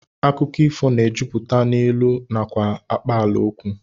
Akụkọ ifo na-ejupụta n'ilu nakwa akpaalaokwu